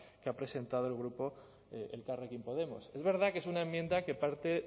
que ha presentado el grupo elkarrekin podemos es verdad que es una enmienda que parte